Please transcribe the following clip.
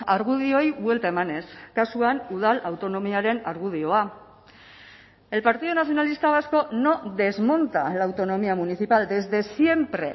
argudioei buelta emanez kasuan udal autonomiaren argudioa el partido nacionalista vasco no desmonta la autonomía municipal desde siempre